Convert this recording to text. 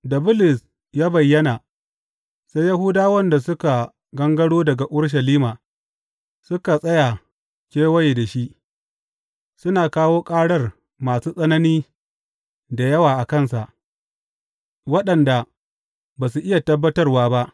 Da Bulus ya bayyana, sai Yahudawan da suka gangaro daga Urushalima suka tsaya kewaye shi, suna kawo ƙarar masu tsanani da yawa a kansa, waɗanda ba su iya tabbatarwa ba.